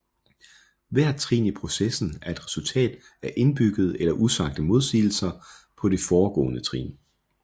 Hvert trin i processen er et resultat af indbyggede eller usagte modsigelser på det foregående trin